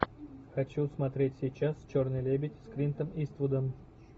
хочу смотреть сейчас черный лебедь с клинтом иствудом